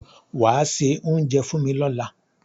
Wàá se oúnjẹ fún mi lọ́la.